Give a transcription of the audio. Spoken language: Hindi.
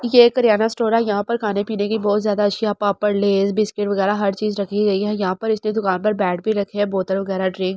ये एक किराना स्टोर है यहाँ पर खाने पीने की बहुत ज्यादा रशिया पापड़ लेज बिस्किट वगेरा हर चीज रखी गई है यहाँ पर इसने दूकान पर बेग भी रखे है बोतल वगेरा ड्रिंक --